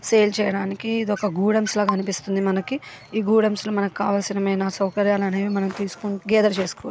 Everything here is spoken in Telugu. సేల్ చేయడానికి ఇదొక గోడౌన్స్ లాగా కనిపిస్తుంది. ఈ గోడౌన్స్ లో మనకు కావాల్సిన సౌకర్యాలు అనేవి మనం తీసుకొని గెదర్ చేసుకోవచ్చు.